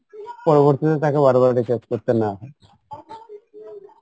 পরবর্তীতে তাকে বারবার recharge করতে না হয়